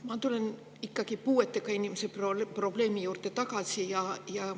Ma tulen ikkagi puuetega inimese probleemi juurde tagasi.